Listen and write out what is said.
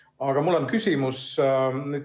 Aga mul on küsimus.